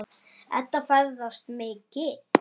Edda ferðast mikið.